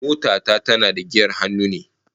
Mota ta tana da giyar hannu ne